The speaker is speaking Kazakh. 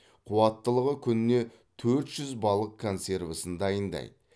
қуаттылығы күніне төрт жүз балық консервісін дайындайды